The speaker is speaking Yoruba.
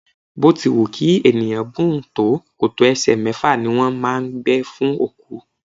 Bó ti wù kí ènìyàn gùn tó, kòtò ẹsẹ mẹ́fà ni wón máa ń gbẹ fún òkú.